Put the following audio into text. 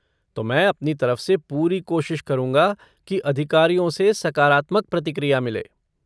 तो मैं अपनी तरफ़ से पूरी कोशिश करूँगा कि अधिकारियों से सकारात्मक प्रतिक्रिया मिले।